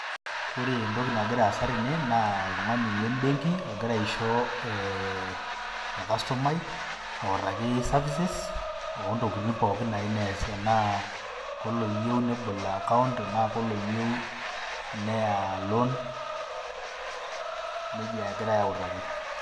Kore entoki nagira aasa tene naa oltung'ani le mbenki ogira aisho ee or customer i autaki services, o ntokitin pookin nayeu nees enaa koloyeu nebol account, enaa koloyeu neya loan neija egirai autaki.